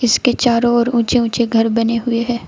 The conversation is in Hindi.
इसके चारों ओर ऊंचे ऊंचे घर बने हुए हैं।